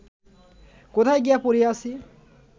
কোথায় গিয়া পড়িয়াছি